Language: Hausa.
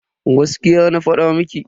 Gaskiya na fada miki.